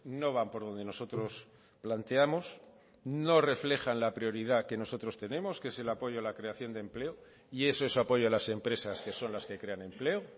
no van por donde nosotros planteamos no reflejan la prioridad que nosotros tenemos que es el apoyo a la creación de empleo y eso es apoyo a las empresas que son las que crean empleo